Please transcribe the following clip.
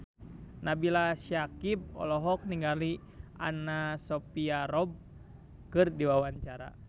Nabila Syakieb olohok ningali Anna Sophia Robb keur diwawancara